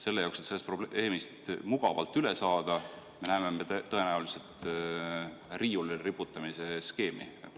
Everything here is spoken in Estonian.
Selle jaoks, et sellest probleemist mugavalt üle saada, me näeme tõenäoliselt riiulile riputamise skeemi.